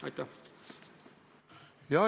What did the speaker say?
Aitäh!